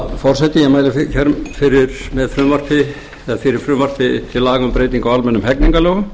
herra forseti ég mæli hér fyrir frumvarpi til laga um breytingu á almennum hegningarlögum